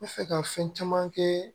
N bɛ fɛ ka fɛn caman kɛ